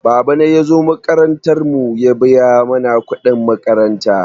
Babana ya zo makarantar mu ya biya mana kuɗin makaranta.